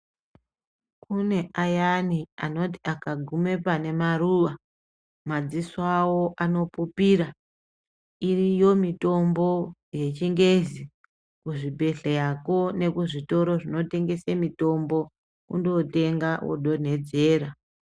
Kune ayani anoti akagume pane maruwa, madziso awo anopupira iriyo mitombo yechingezi kuzvibhedhlerako nekuzvitoro zvinotengese mitombo undootenga odonhodzera.